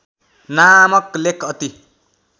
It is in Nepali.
नामक लेख अति